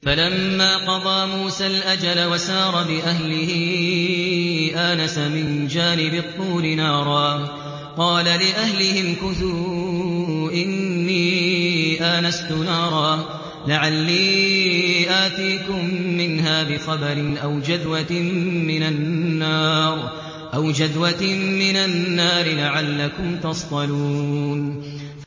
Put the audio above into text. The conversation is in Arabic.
۞ فَلَمَّا قَضَىٰ مُوسَى الْأَجَلَ وَسَارَ بِأَهْلِهِ آنَسَ مِن جَانِبِ الطُّورِ نَارًا قَالَ لِأَهْلِهِ امْكُثُوا إِنِّي آنَسْتُ نَارًا لَّعَلِّي آتِيكُم مِّنْهَا بِخَبَرٍ أَوْ جَذْوَةٍ مِّنَ النَّارِ لَعَلَّكُمْ تَصْطَلُونَ